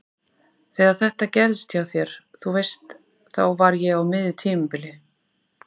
Þegar þetta gerðist hjá þér. þú veist. þá var ég á miðju tímabili.